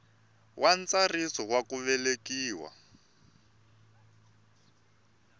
wa ntsariso wa ku velekiwa